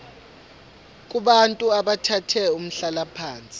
kubantu abathathe umhlalaphansi